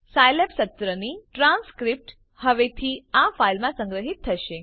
Scilab સત્રની transcript હવેથી આ ફાઈલમાં સંગ્રહિત થશે